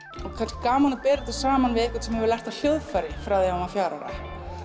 og kannski gaman að bera þetta saman við einhvern sem hefur lært á hljóðfæri frá því að hann var fjögurra ára